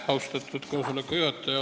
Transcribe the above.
Austatud koosoleku juhataja!